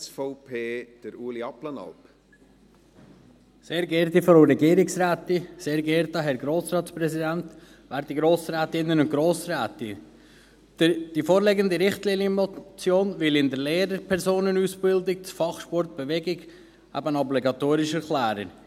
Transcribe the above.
Die vorliegende Richtlinienmotion will das Fach Sport und Bewegung in der Lehrpersonenausbildung als obligatorisch erklären.